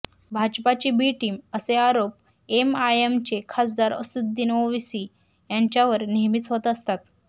भाजपाची B team असे आरोप एमआयएमचे खासदार असदुद्दीन ओवेसी यांच्यावर नेहमीच होत असतात